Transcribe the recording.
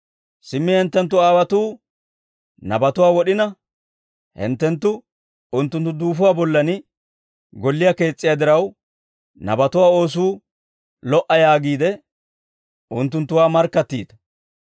Simmi hinttenttu aawotuu nabatuwaa wod'ina, hinttenttu unttunttu duufuwaa bollan golliyaa kees's'iyaa diraw, Nabatuwaa oosuu lo"a yaagiide, unttunttuwaa markkattiita.